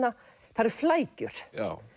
það eru flækjur